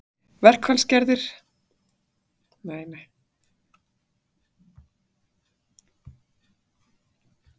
Verkfallsverðir í góðu yfirlæti